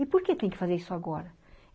E por que tem que fazer isso agora?